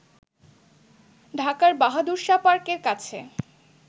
ঢাকার বাহাদুর শাহ পার্কের কাছে